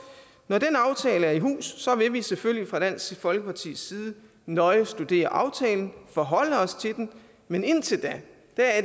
når den aftale er i hus vil vi selvfølgelig fra dansk folkepartis side nøje studere aftalen forholde os til den men indtil da